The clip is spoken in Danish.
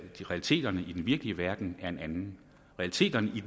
realiteterne i den virkelige verden er en anden realiteterne i